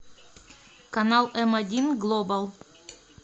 канал эм один глобал